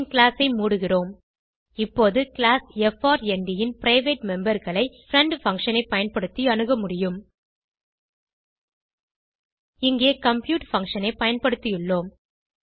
பின் class ஐ மூடுகிறோம் இப்போது கிளாஸ் எப்ஆர்என்டி ன் பிரைவேட் memberகளை பிரெண்ட் பங்ஷன் ஐ பயன்படுத்தி அணுக முடியும் இங்கே கம்ப்யூட் பங்ஷன் ஐ பயன்படுத்தியுள்ளோம்